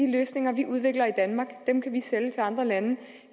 løsninger vi udvikler i danmark kan vi sælge til andre lande